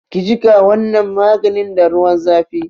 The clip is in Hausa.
Ki jiƙa wannan maganin da ruwan zafi!